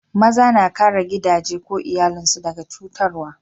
Maza na kare gidaje ko iyallin su daga cutarwa.